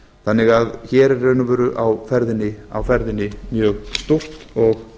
þannig að hér er í raun og veru á ferðinni mjög stórt og